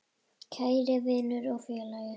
Kæri vinur og félagi.